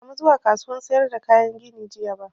Ban sa mu zuwa kasuwan sayar da kayan gini jiya ba